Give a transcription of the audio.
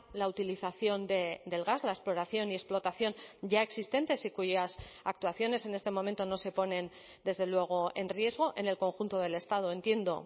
la utilización del gas la exploración y explotación ya existentes y cuyas actuaciones en este momento no se ponen desde luego en riesgo en el conjunto del estado entiendo